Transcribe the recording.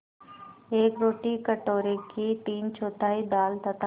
एक रोटी कटोरे की तीनचौथाई दाल तथा